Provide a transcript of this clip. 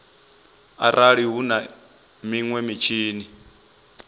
arali hu na minwe mitshini